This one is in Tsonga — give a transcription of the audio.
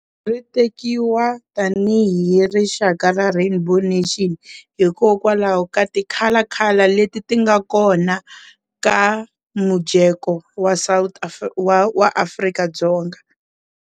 Ri tekiwa tanihi rixaka ra rainbow nation hikokwalaho ka ti color color leti ti nga kona ka mujeko wa wa Afrika-Dzonga.